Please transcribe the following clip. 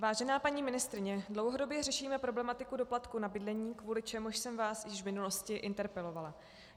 Vážená paní ministryně, dlouhodobě řešíme problematiku doplatku na bydlení, kvůli čemuž jsem vás již v minulosti interpelovala.